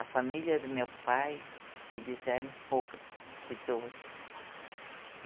A família do meu pai, eles eram poucas pessoas.